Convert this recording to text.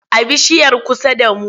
A bishiyar kusa da mu.